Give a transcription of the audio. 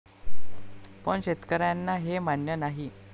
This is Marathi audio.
पण शेतकऱ्यांना हे मान्य नाही.